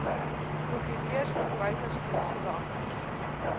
prokureurs onderwysers polisiebeamptes